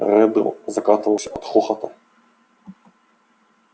реддл закатывался от хохота